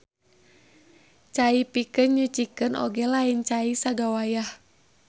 Cai pikeun nyucikeun oge lain cai sagawayah.